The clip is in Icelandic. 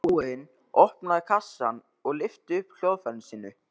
Baróninn opnaði kassann og lyfti upp hljóðfæri sínu.